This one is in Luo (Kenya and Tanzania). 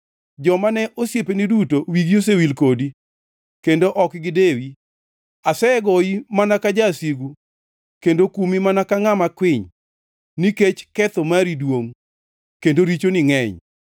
Joma ne osiepeni duto wigi osewil kodi; kendo ok gidewi. Asegoyi mana ka jasigu kendo kumi mana ka ngʼama kwiny, nikech ketho mari duongʼ kendo richoni ngʼeny.